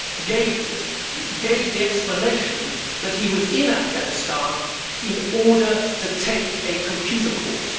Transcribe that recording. gave the explanation that he was in Afghanistan in order to take a computer course.